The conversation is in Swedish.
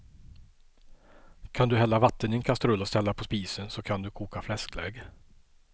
Kan du hälla vatten i en kastrull och ställa på spisen så kan du koka fläsklägg.